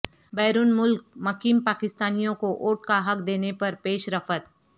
بیرون ملک مقیم پاکستانیوں کو ووٹ کا حق دینے پر پیش رفت